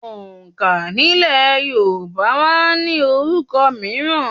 Òǹkà nílẹ̀ Yorùbá máa ń ní orúkọ míràn